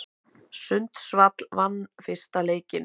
Sundsvall vann fyrsta leikinn